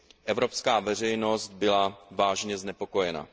evropská veřejnost byla vážně znepokojena.